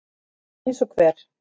Eins og hver?